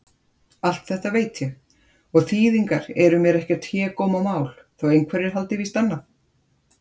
Allt þetta veit ég- og þýðingar eru mér ekkert hégómamál, þótt einhverjir haldi víst annað.